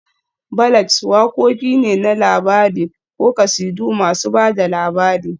Ballads wakoki ne na labari ko kasidu masu ba da labari